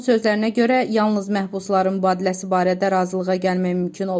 Onun sözlərinə görə, yalnız məhbusların mübadiləsi barədə razılığa gəlmək mümkün olub.